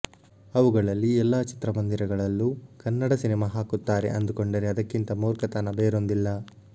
ಅವುಗಳಲ್ಲಿ ಎಲ್ಲಾ ಚಿತ್ರಮಂದಿರಗಳಲ್ಲೂ ಕನ್ನಡ ಸಿನಿಮಾ ಹಾಕುತ್ತಾರೆ ಅಂದುಕೊಂಡರೆ ಅದಕ್ಕಿಂತ ಮೂರ್ಖತನ ಬೇರೊಂದಿಲ್ಲ